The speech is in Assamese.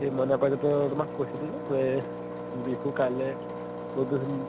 সেই মাইনা পাৰিজাতৰ তোমাক কৈছিলো যে এহ বিহু কালিলে